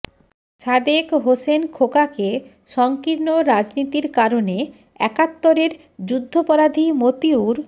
সাদেক হোসেন খোকাকে সংকীর্ণ রাজনীতির কারণে একাত্তরের যুদ্ধাপরাধী মতিউর